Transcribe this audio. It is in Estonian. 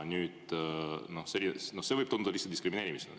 See võib tunduda diskrimineerimisena.